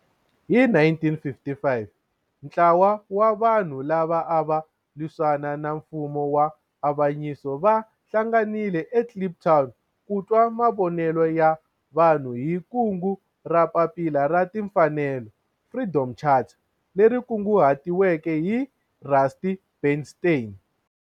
Hi 1955 ntlawa wa vanhu lava ava lwisana na nfumo wa avanyiso va hlanganile eKliptown ku twa mavonelo ya vanhu hi kungu ra Papila ra Tinfanelo, Freedom Charter leri kunguhatiweke hi Rusty Bernstein.